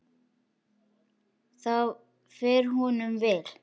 Það fer honum vel.